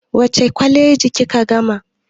Wace kwaleji kika gama?